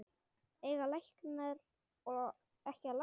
Eiga læknar ekki að lækna?